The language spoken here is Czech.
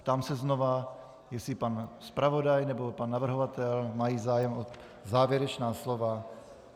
Ptám se znovu, jestli pan zpravodaj nebo pan navrhovatel mají zájem o závěrečná slova.